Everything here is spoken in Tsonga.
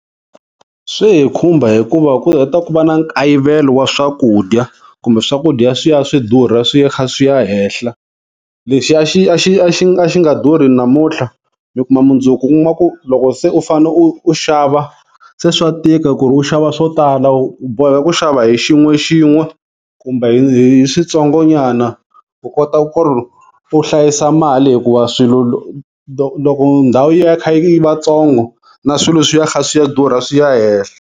Swi hi khumba hikuva ku heta ku va na nkayivelo wa swakudya, kumbe swakudya swi ya swi durha swi ya swi kha swi ya henhla. Lexi a xi a xi a xi nga durhi namuntlha mi kuma mundzuku u kuma ku loko se u fane u u xava se swa tika ku ri u xava swo tala, u boheka ku xava hi xin'wexin'we kumbe hi switsongonyana u kota ku ri u hlayisa mali hikuva swilo loko ndhawu yi va yi kha yi va tsongo na swilo swi ya kha swi ya durha swi ya hehla.